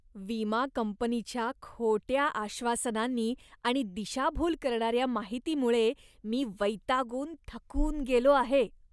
विमा कंपनीच्या खोट्या आश्वासनांनी आणि दिशाभूल करणाऱ्या माहितीमुळे मी वैतागून थकून गेलो आहे.